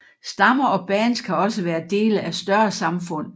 Stammer og bands kan også være dele af større samfund